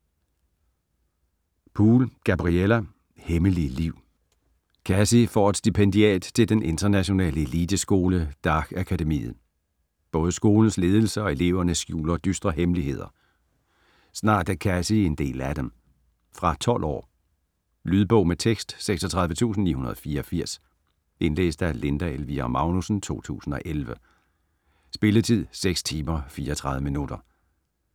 Poole, Gabriella: Hemmelige liv Cassie får et stipendiat til den internationale eliteskole Darke Akademiet. Både skolens ledelse og eleverne skjuler dystre hemmeligheder. Snart er Cassie en del af dem. Fra 12 år. Lydbog med tekst 36984 Indlæst af Linda Elvira Magnussen, 2011. Spilletid: 6 timer, 34 minutter.